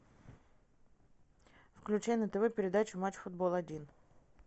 включай на тв передачу матч футбол один